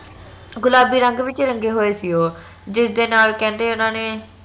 ਗੁਲਾਬੀ ਰੰਗ ਵਿਚ ਰੰਗੇ ਹੋਏ ਸੀ ਉਹ ਜਿਸ ਦੇ ਨਾਲ ਕਹਿੰਦੇ ਓਨਾ ਨੇ